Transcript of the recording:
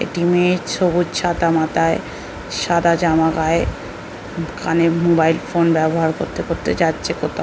একটি মেয়ে সবুজ ছাতা মাতায় সাদা জামা গায়ে কানে মোবাইল ফোন ব্যাবহার করতে করতে যাচ্ছে কোতাও।